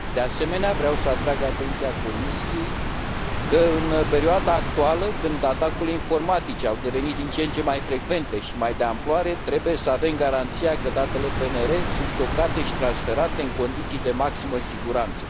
De asemenea, vreau să atrag atenția Comisiei că, în perioada actuală, când atacurile informatice au devenit din ce în ce mai frecvente și mai de amploare, trebuie să avem garanția că datele PNR sunt stocate și transferate în condiții de maximă siguranță.